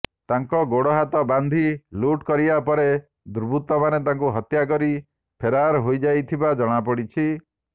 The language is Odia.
ତାଙ୍କ ଗୋଡ଼ହାତ ବାନ୍ଧି ଲୁଟ୍ କରିବା ପରେ ଦୁର୍ବୃତ୍ତମାନେ ତାଙ୍କୁ ହତ୍ୟା କରି ଫେରାର ହୋଇଯାଇଥିବା ଜଣାପଡ଼ିଛି